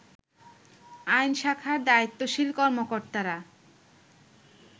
আইন শাখার দায়িত্বশীল কর্মকর্তারা